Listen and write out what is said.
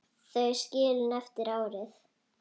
Þau skilin eftir árið.